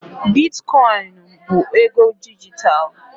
Biticoinu bụ ego dijitalụ.